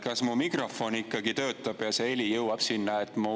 Kas mu mikrofon ikka töötab ja heli jõuab sinna?